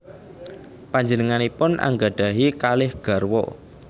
Panjenenganipun anggadhahi kalih garwa